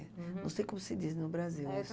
Não sei como se diz no Brasil isso.